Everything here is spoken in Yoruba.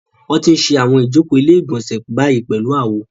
Wọ́n ti ń ṣe àwọn ìjókòó ilé-ìgbọ̀nsẹ̀ báyìí pẹ̀lú àwo.